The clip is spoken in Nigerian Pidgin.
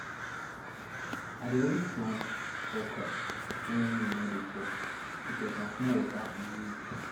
i dey always plant okra when rain no dey fall because na small water e need